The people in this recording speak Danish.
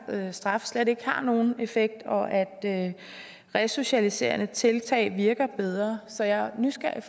straffe slet ikke har nogen effekt og at resocialiserende tiltag virker bedre så jeg er nysgerrig